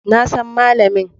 Na san malamin.